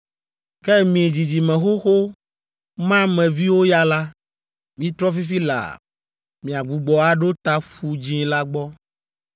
Ke mi dzidzime xoxo ma me viwo ya la, mitrɔ fifi laa, miagbugbɔ aɖo ta Ƒu Dzĩ la gbɔ.”